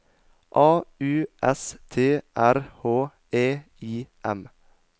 A U S T R H E I M